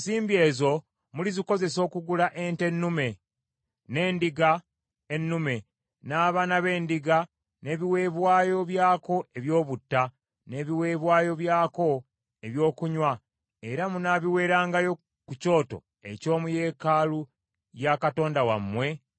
Ggwe ne baganda bo Abayudaaya, kye mulisiima okukolamu effeeza ne zaabu erifikkawo kiriva gye muli ng’okusiima kwa Katonda wammwe bwe kuli.